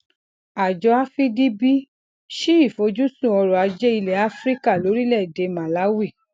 àjọ afdb ṣí ìfojúsun ọrọajé ilẹ áfíríkà lórílẹèdè màláwì